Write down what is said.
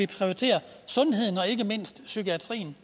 prioriterer sundheden og ikke mindst psykiatrien